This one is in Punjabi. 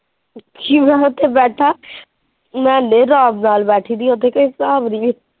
ਸ਼ਿਵ ਹੁਣ ਉੱਥੇ ਬੈਠਾ ਮੈ ਇਹਨੇ ਆਰਾਮ ਨਾਲ ਬੈਠੀ ਸੀ ਉੱਥੇ ਕੋਈ ਹਿਸਾਬ ਨਹੀਂ।